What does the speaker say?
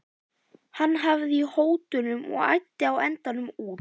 Hann hafði í hótunum og æddi á endanum út.